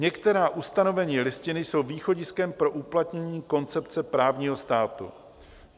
Některá ustanovení Listiny jsou východiskem pro uplatnění koncepce právního státu.